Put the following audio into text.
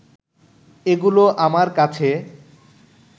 এগুলো আমার কাছে